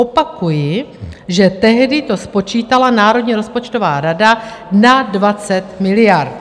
Opakuji, že tehdy to spočítala Národní rozpočtová rada na 20 miliard.